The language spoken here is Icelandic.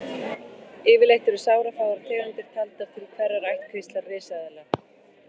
Yfirleitt eru sárafáar tegundir taldar til hverrar ættkvíslar risaeðla.